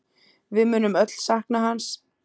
Við munum öll sakna hans.